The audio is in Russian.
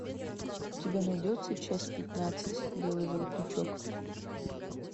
у тебя найдется часть пятнадцать белый воротничок